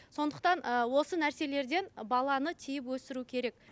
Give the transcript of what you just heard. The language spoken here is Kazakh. сондықтан ы осы нәрселерден баланы тыйып өсіру керек